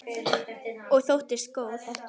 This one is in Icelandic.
Og þóttist góð.